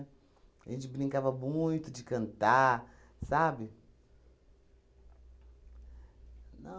A gente brincava muito de cantar, sabe?